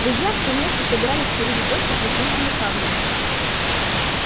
друзья все вместе собирались сходить в гости к лесничему хагриду